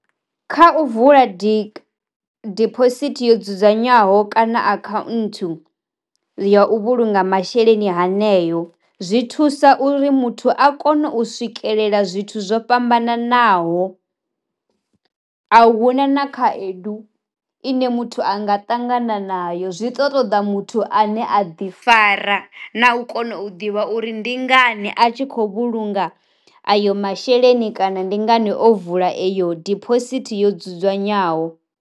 Kha u vula di diphosithi yo dzudzanywaho kana account ya u vhulunga masheleni haneyo, zwi thusa uri muthu a kone u swikelela zwithu zwo fhambananaho, a huna na khaedu ine muthu anga tangana nayo zwi to ṱoḓa muthu ane a ḓi fara na u kona u ḓivha uri ndi ngani a tshi khou vhulunga ayo masheleni kana ndi ngani o vula iyo diphosithi yo dzudzanywaho.